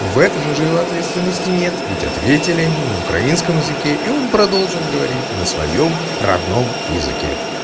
в этом уже его ответственности нет ведь ответили ему на украинском языке и он продолжен говорить на своём родном языке